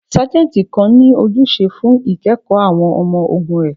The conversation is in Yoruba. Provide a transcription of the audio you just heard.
Sajenti kan ni ojuse fun ikẹkọ awọn ọmọ-ogun rẹ